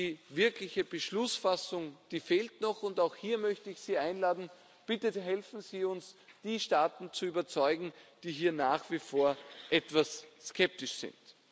Die wirkliche Beschlussfassung fehlt noch, und auch hier möchte ich Sie einladen Bitte helfen Sie uns, die Staaten zu überzeugen, die hier nach wie vor etwas skeptisch sind.